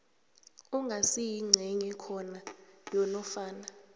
angasiyingcenye khona yanofana